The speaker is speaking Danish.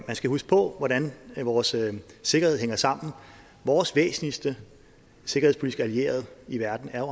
skal huske på hvordan vores sikkerhed hænger sammen vores væsentligste sikkerhedspolitiske allierede i verden er